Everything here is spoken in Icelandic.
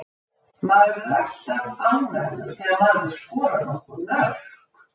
Maður er alltaf ánægður þegar maður skorar nokkur mörk.